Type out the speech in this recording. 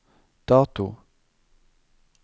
dato